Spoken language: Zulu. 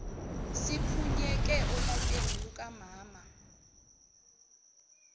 siphunyuke olakeni lukamama